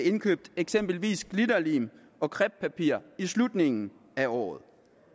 indkøbt eksempelvis glitterlim og crepepapir i slutningen af året